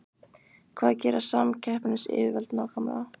Hvað gera samkeppnisyfirvöld nákvæmlega?